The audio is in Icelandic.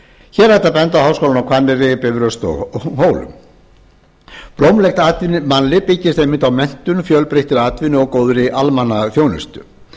hér er hægt að benda á háskólana á hvanneyri bifröst og hólum blómlegt mannlíf byggist einmitt á menntun fjölbreyttri atvinnu og góðri almannaþjónustu